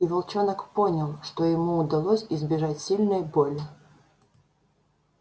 и волчонок понял что ему удалось избежать сильной боли